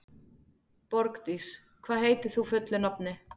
Borgdís, hvað heitir þú fullu nafni?